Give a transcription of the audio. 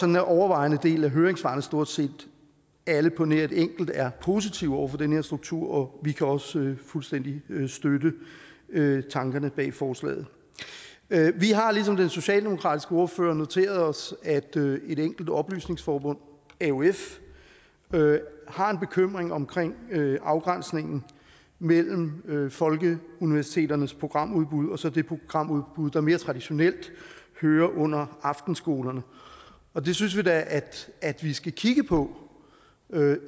den overvejende del af høringssvarene stort set alle på nær et enkelt er positive over for den her struktur og vi kan også fuldstændig støtte tankerne bag forslaget vi har ligesom den socialdemokratiske ordfører noteret os at et enkelt oplysningsforbund aof har en bekymring omkring afgrænsningen mellem folkeuniversiteternes programudbud og så det programudbud der mere traditionelt hører under aftenskolerne og det synes vi da at vi skal kigge på